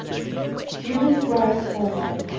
human growth hormone